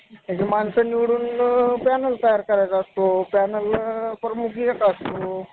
पंढरपुर हे सोलापूरच्या पश्चिमेत एकाहत्तर kilometer वर भीमा नदीच्या उजव्या तीरावर समुद्र सपाटीपासून चारशे पन्नास meter उंचीवर आहे.